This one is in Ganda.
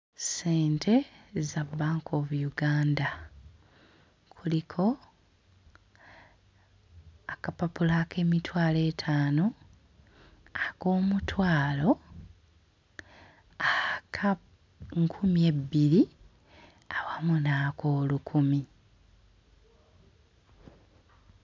Ssente za Bank of Uganda. Kuliko akapapula ak'emitwalo etaano, ak'omutwalo, aka nkumi ebbbiri awamu n'ak'olukumi.